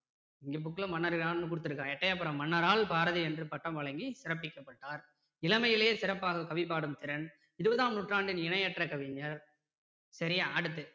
இங்க book ல மன்னர்களான்னு கொடுத்திருக்கான் எட்டயபுர மன்னரால் பாரதி என்று பட்டம் வழக்கி சிறப்பிக்கப்பட்டார். இளமையிலேயே சிறப்பாக கவிபாடும் திறன் இருபதாம் நூற்றாண்டின் இணையற்ற கவிஞர் சரியா அடுத்து